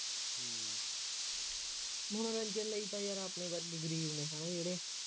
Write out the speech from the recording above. ਮਨੋਰੰਜਨ ਲਈ ਤਾਂ ਯਾਰ ਆਪਣੇ ਵਰਗੇ ਗਰੀਬ ਨੇ ਹੈ ਨਾ ਜਿਹੜੇ